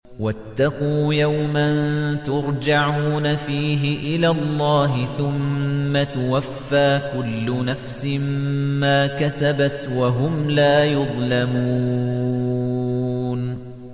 وَاتَّقُوا يَوْمًا تُرْجَعُونَ فِيهِ إِلَى اللَّهِ ۖ ثُمَّ تُوَفَّىٰ كُلُّ نَفْسٍ مَّا كَسَبَتْ وَهُمْ لَا يُظْلَمُونَ